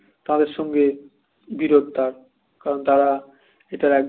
তাদের সঙ্গে বিরধ তার কারন তারা এটার